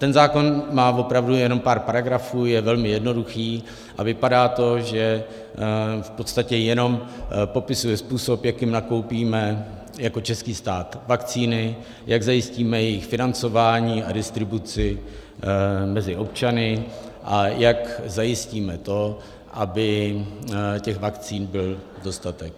Ten zákon má opravdu jenom pár paragrafů, je velmi jednoduchý a vypadá to, že v podstatě jenom popisuje způsob, jakým nakoupíme jako český stát vakcíny, jak zajistíme jejich financování a distribuci mezi občany a jak zajistíme to, aby těch vakcín byl dostatek.